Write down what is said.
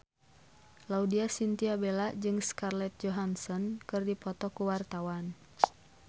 Laudya Chintya Bella jeung Scarlett Johansson keur dipoto ku wartawan